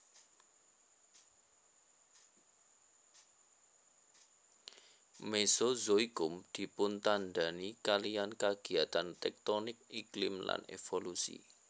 Mesozoikum dipuntandhani kaliyan kagiyatan tektonik iklim lan evolusi